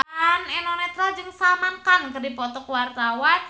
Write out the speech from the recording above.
Eno Netral jeung Salman Khan keur dipoto ku wartawan